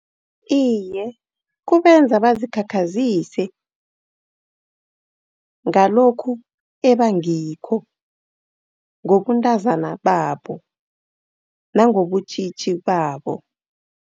Iye, kubenza bazikhakhazise ngalokhu ebangikho. Ngobuntazana babo, nangobutjitji babo.